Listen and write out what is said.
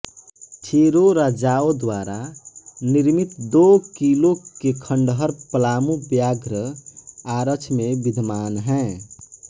चेरो राजाओं द्वारा निर्मित दो किलों के खंडहर पलामू व्याघ्र आरक्ष में विद्यमान हैं